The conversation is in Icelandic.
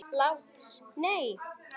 LÁRUS: Nei!